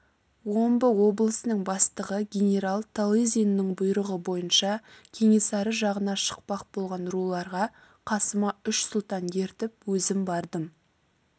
омбы облысының бастығы генерал талызинның бұйрығы бойынша кенесары жағына шықпақ болған руларға қасыма үш сұлтан ертіп өзім бардым